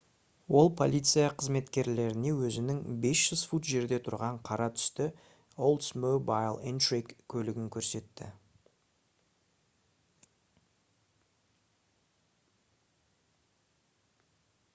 ол полиция қызметкерлеріне өзінің 500 фут жерде тұрған қара түсті oldsmobile intrigue көлігін көрсетті